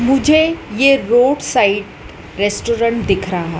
मुझे ये road side restaurant दिख रहा--